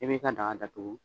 I' ni ka daga datugu.